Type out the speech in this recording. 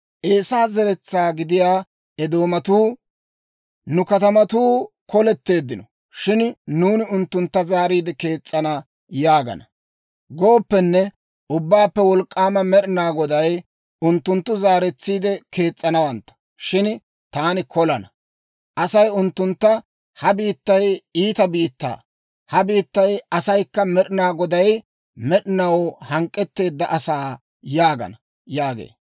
Eesaa zeretsaa gidiyaa Eedoomatuu, «Nu katamatuu koletteeddino; shin nuuni unttuntta zaaretsiide kees's'ana» yaagana. Ubbaappe Wolk'k'aama Med'ina Goday, «Unttunttu zaaretsiide kees's'anawantta; shin taani kolana. Asay unttuntta, ‹Ha biittay, iita biittaa; ha biittaa asaykka Med'ina Goday med'inaw hank'k'etteedda asaa› yaagana» yaagee.